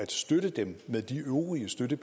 det